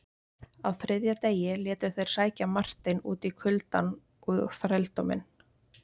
Á þriðja degi létu þeir sækja Marteinn út í kuldann og þrældóminn.